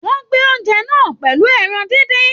Wọn gbé oúnjẹ náà pẹlú ẹran díndín.